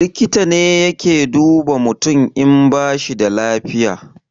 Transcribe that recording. Likita ne yake duba mutum in bashi da lafiya